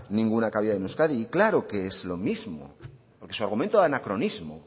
ninguna cabida en euskadi y claro que es lo mismo porque su argumento anacronismo